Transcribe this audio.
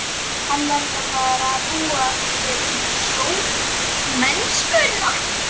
Hann verður að fara að búa sig undir sjómennskuna.